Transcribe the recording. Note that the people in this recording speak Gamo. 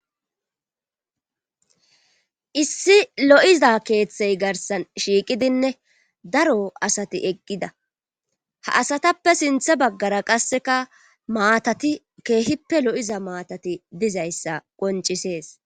Issi lo'iza keeththe garsan shiiqidinne daro asati eqqida. Ha asatappe sintha baggara qasseka maatati keehippe lo'iza maatati diza issa qoncisees.